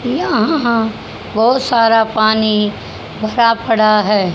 यहां बहुत सारा पानी भरा पड़ा है।